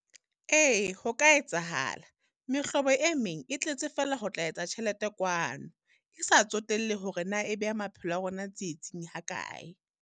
Ee ho ka etsahala, mehlobo e meng e tletse fela ho tla etsa tjhelete kwano, e sa tsotellehe hore na e beha maphelo a rona tsietsing ha kae?